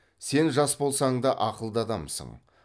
сен жас болсаң да ақылды адамсың